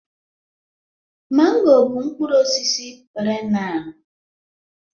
mango bụ mkpụrụ osisi perennial